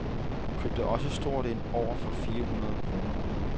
Hun købte også stort ind, for over fire hundrede kroner.